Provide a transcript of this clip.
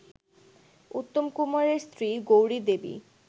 উত্তমকুমারের স্ত্রী গৌরিদেবী